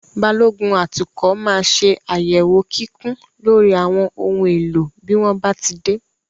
Balógun atukọ̀ máa ṣe àyẹ̀wò kíkún lórí àwọn ohun èlò bí wón bá ti dé.